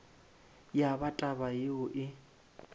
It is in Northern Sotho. ya ba taba yeo e